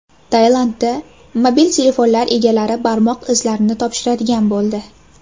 Tailandda mobil telefonlar egalari barmoq izlarini topshiradigan bo‘ldi.